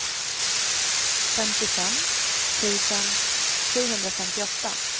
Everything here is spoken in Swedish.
femtiofem tusen sjuhundrafemtioåtta